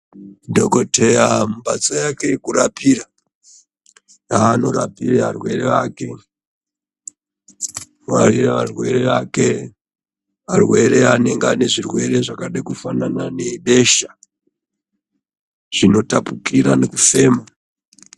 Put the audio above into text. Dhokodheya mumbatso yake yekurapira, yaanorapira arwere ake arwere anenge ane zvirwere zvakade kufanane nebesha zvinotapukire nekufema.